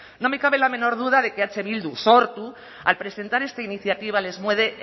no me cabe la menor duda de que eh bildu sortu al presentar esta iniciativa les mueve